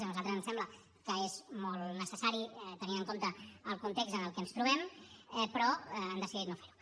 a nosaltres ens sembla que és molt necessari tenint en compte el context en el que ens trobem però han decidit no fer ho